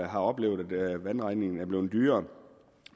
har oplevet at vandregningen er blevet dyrere